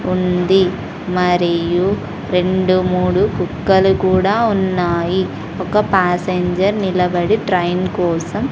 ఉంది మరియు రెండు మూడు కుక్కలు కూడా ఉన్నాయి ఒక పాసెంజర్ నిలబడి ట్రైన్ కోసం--